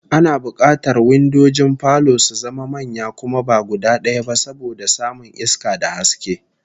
Ana bukatar windojin falo su zama manya kuma ba guda daya ba, saboda samun iska da haske